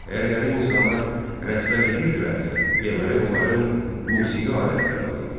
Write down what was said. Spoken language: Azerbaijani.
Əgər qədim insanlar rəqslər edirdilərsə, deməli onların musiqi aləti də var idi.